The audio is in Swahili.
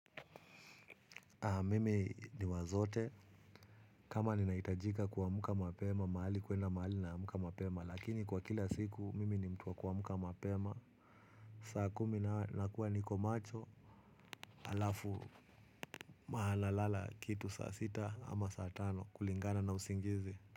Mimi ni wa zote. Kama ninahitajika kuamka mapema mahali kuenda mahali naamka mapema lakini kwa kila siku mimi ni mtu wa kuamka mapema. Saa kumi nakuwa niko macho. Alafu mahala lala kitu saa sita ama saa tano kulingana na usingizi.